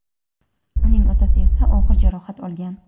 uning otasi esa og‘ir jarohat olgan.